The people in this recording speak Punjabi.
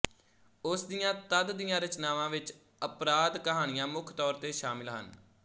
ਉਸ ਦੀਆਂ ਤਦ ਦੀਆਂ ਰਚਨਾਵਾਂ ਵਿੱਚ ਅਪਰਾਧ ਕਹਾਣੀਆਂ ਮੁੱਖ ਤੌਰ ਤੇ ਸ਼ਾਮਿਲ ਹਨ